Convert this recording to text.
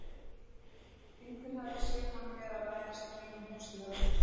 Einhver hafði séð hann vera að læðast í kringum húsið hjá þér.